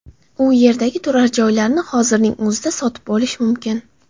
U yerdagi turar joylarni hozirning o‘zida sotib olish mumkin.